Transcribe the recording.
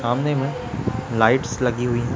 सामने में लाइट्स लगी हुई है।